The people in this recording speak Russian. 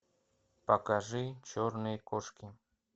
покажи черные кошки